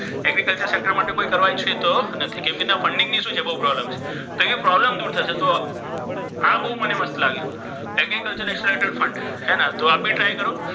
agriculture sector માટે કોઈ કરવા ઈચ્છતો નથી કેમકે funding માટે શું છે? બહુ problem છે. પણ problem દૂર થશે તો આ બહુ મને મસ્ત લાગ્યું. agriculture accelerator fund તો આપ try કરો.